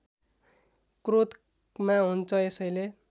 क्रोधमा हुन्छ यसैले